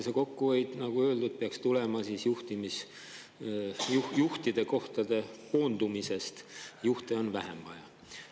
Kokkuhoid, nagu öeldud, peaks tulema juhtide kohtade koondamisest, juhte on vähem vaja.